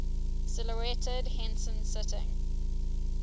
silhouetted henson sitting